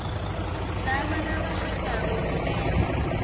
laba labashadako kumele